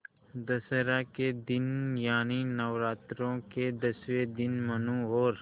दशहरा के दिन यानि नौरात्रों के दसवें दिन मनु और